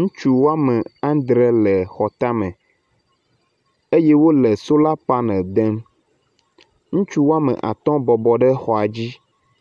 Ŋutsu wɔme adre le xɔtame eye wo le sola panel dem. Ŋutsu wɔme atɔ bɔbɔ ɖe xɔa dzi